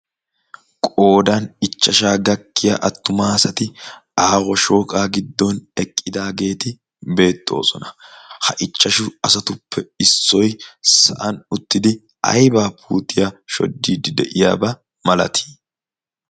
Qoodan ichchashsha gakkiya attuma asati aaho shooqqa giddon eqqidaageeti beettoosona. Ha ichchashshatuppe issoy saa'an uttidi aybba puutiya shoddide de'iyaaba malati?